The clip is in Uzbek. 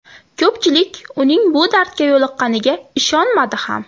Ko‘pchilik, uning bu dardga yo‘liqqqaniga ishonmadi ham.